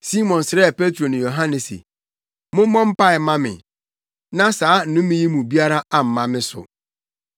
Simon srɛɛ Petro ne Yohane se, “Mommɔ mpae mma me na saa nnome yi mu biara amma me so.”